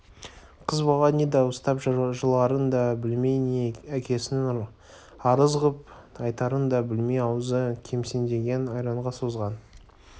қыз бала не дауыстап жыларын да білмей не әкесіне арыз ғып айтарын да білмей аузы кемсеңдеген айранға созған